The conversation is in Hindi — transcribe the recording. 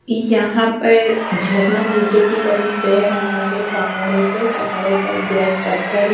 यहां पर झरना नीचे की तरफ बेह रहा है पहाड़ों से पहाड़ों पर ब्लैक पत्थर है।